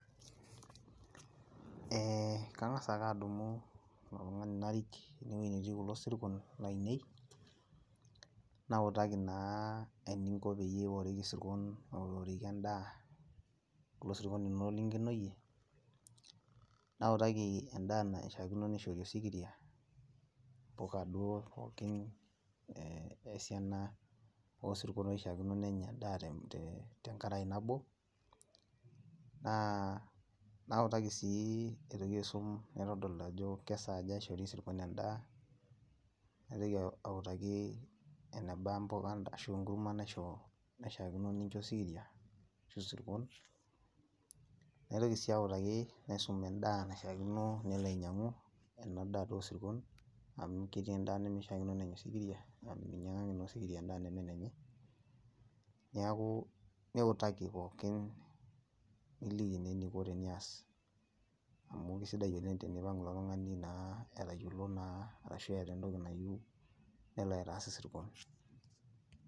Eh kang'asa aka adumu oltung'ani narik enewoi netii kulo sirkon lainei, nautaki naa eninko peyie iworiki isirkon aoriworiki endaa, kulo sirkon linonok linkenoyie, nautaki endaa naishaakino nishori osikiria, impuka duo pookin, esiana osirkon oishaakino nenya endaa tenkarae nabo, naa nautaki si aitoki aisum naitodol ajo kesaaja ishori sirkon endaa, naitoki autaki eneba mpuka ashu enkurma naisho naishaakino nincho osikiria, ashu isirkon. Naitoki si autaki naisum endaa naishaakino nelo ainyang'u enadaa duo osirkon, amu ketii endaa mishaakino penya osikiria, amu minyang'aki naa osikiria endaa nemenenye, neeku niutaki pookin niliki naa eniko tenias amu kesidai oleng tenipang' ilo tung'ani naa etayiolo naa arashu eeta entoki nayieu, nelo aitaas isirkon.